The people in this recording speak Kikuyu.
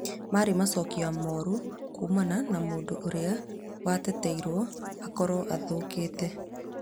Marĩ macokia morũkuumana na mũndũũrĩa wetereirwo akorwo athĩtũkite